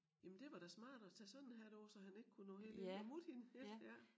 Jamen det var da smart at tage sådan en hat på så han ikke kunne nå helt ind og mutte hende ik ja